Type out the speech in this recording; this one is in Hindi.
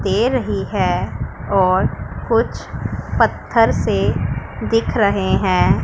दे रही है और कुछ पत्थर से दिख रहे हैं।